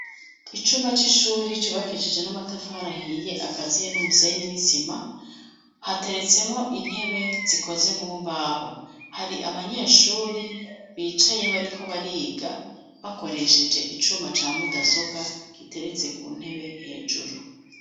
Icumba c'ishuri cubakishije n'amatafara ahiye, akaziye n'umusenyi n'isima, hateretsemwo intebe zikoze mu mbaho, hari abanyeshuri bicaye bariko bariga, bakoresheje icuma ca mudasobwa giteretse ku ntebe hejuru.